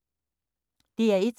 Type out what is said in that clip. DR1